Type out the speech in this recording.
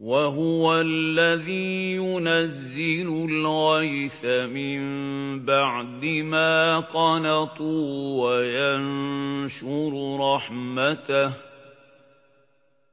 وَهُوَ الَّذِي يُنَزِّلُ الْغَيْثَ مِن بَعْدِ مَا قَنَطُوا وَيَنشُرُ رَحْمَتَهُ ۚ